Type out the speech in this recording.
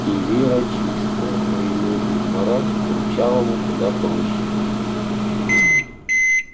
и вера чистая но её измарать курчавому куда проще